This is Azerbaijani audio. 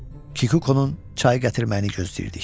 Kikukonun çay gətirməyini gözləyirdik.